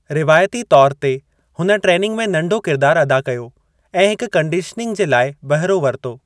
रिवायती तौर ते हुन ट्रेनिंग में नंढो किरिदारु अदा कयो ऐं हिक कंडीश्निंग जे लाइ बहिरो वरितो।